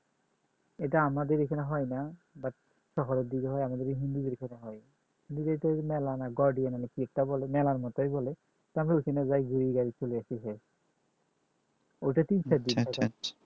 এটা আমাদের এখানে হয় না but দিকে হয় আমাদের হিন্দুদের এখানে হয় কিন্তু এটা মেলা নয় মেলার মতোই বলে চলে এসেছে ওটাতেই